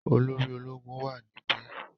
Olóri ológun wà níbi.